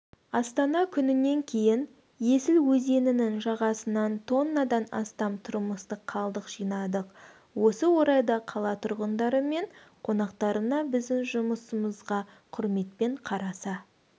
астана күнінен кейін есіл өзенінің жағасынан тоннадан астам тұрмыстық қалдық жинадық осы орайда қала тұрғындары мен қонақтарына біздің жұмысымызға құрметпен қараса